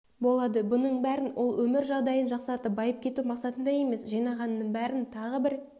болады бұның бәрін ол өмір жағдайын жақсартып байып кету мақсатында емес жинағанының бәрін тағы бір